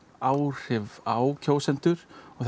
áhrif á kjósendur og